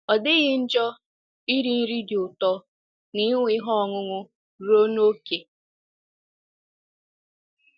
Ọ dịghị njọ iri nri dị ụtọ na ịṅụ ihe ọṅụṅụ ruo n’ókè.